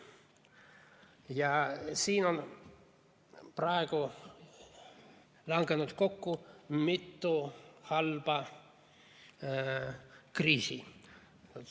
Ja siin on praegu langenud kokku mitu halba kriisi.